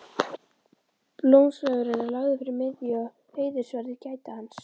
Blómsveigurinn er lagður fyrir miðju og heiðursverðir gæta hans.